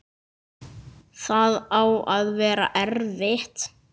Það á að vera erfitt.